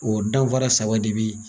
O danfara saba de be yen.